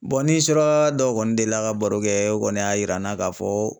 ni suraka dɔw kɔni delila ka baro kɛ o kɔni y'a yira an na k'a fɔ